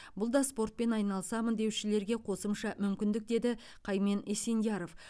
бұл да спортпен айналысамын деушілерге қосымша мүмкіндік деді қаймен есендияров